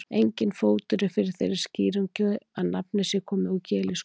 Enginn fótur er fyrir þeirri skýringu að nafnið sé komið úr gelísku.